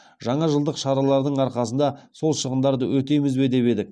жаңажылдық шаралардың арқасында сол шығындарды өтейміз бе деп едік